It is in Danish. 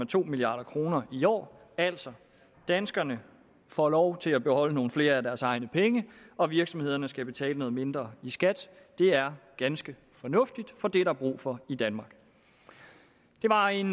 to milliard kroner i år altså danskerne får lov til at beholde nogle flere af deres egne penge og virksomhederne skal betale noget mindre i skat det er ganske fornuftigt for det er der brug for i danmark det var en